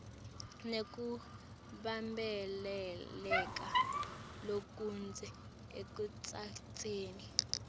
nekubambeleleka lokudze ekutsatseni